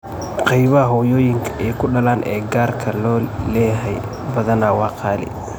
Qaybaha hooyooyinka ay kudalaan ee gaarka loo leeyahay badanaa waa qaali.